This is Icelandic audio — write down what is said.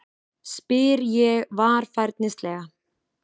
spyr ég varfærnislega.